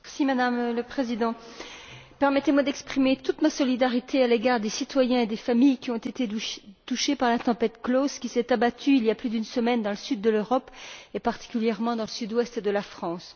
Madame la Présidente, permettez moi d'exprimer toute ma solidarité à l'égard des citoyens et des familles qui ont été victimes de la tempête Klaus, qui s'est abattue il y a plus d'une semaine dans le sud de l'Europe, et particulièrement dans le sud ouest de la France.